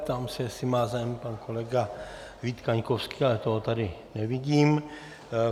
Ptám se, jestli má zájem pan kolega Vít Kaňkovský, ale toho tady nevidím.